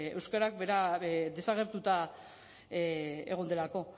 euskara bera desagertuta egon delako